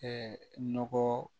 nɔgɔ